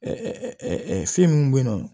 fɛn minnu bɛ yen nɔ